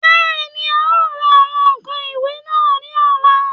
Bẹ́ẹ̀ni, n ó ra àwọn ǹkan ìwẹ̀ náà ní ọ̀la